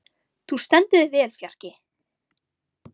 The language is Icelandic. Þú stendur þig vel, Fjarki!